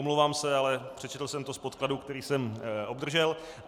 Omlouvám se, ale přečetl jsem to z podkladů, které jsem obdržel.